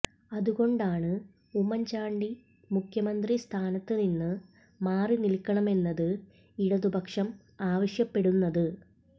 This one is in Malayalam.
അതുകൊണ്ടാണ് ഉമ്മന്ചാണ്ടി മുഖ്യമന്ത്രി സ്ഥാനത്ത് നിന്ന് മാറിനില്ക്കണമെന്ന് ഇടതു പക്ഷം ആവശ്യപ്പെടുന്നത്